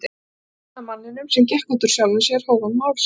Þetta er sagan af manninum sem gekk út úr sjálfum sér hóf hann mál sitt.